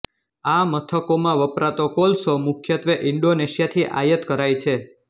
આ મથકોમાં વપરાતો કોલસો મુખ્યત્વે ઇંડોનેશિયાથી આયાત કરાય છે